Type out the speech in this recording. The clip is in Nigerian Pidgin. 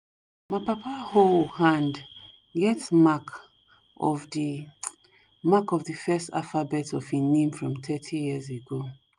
ma papa hoe hand get mark of the mark of the first alphabet of his name from 30yrs ago